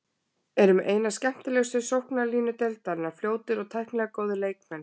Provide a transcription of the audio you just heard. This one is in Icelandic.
Eru með eina skemmtilegustu sóknarlínu deildarinnar, fljótir og tæknilega góðir leikmenn.